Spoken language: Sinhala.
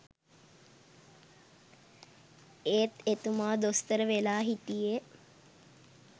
එත් එතුමා දොස්තර වෙලා හිටියේ